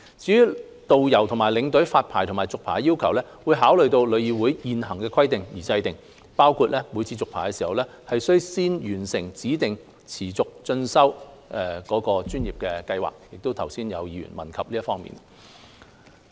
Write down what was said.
至於導遊和領隊發牌和續牌的要求，會參考旅議會的現行規定而訂，包括每次續牌時，須先完成指定持續專業進修計劃，剛才亦有議員問及這方面。